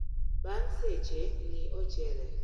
Bang' seche, ng'ii ochele